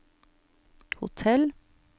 hotell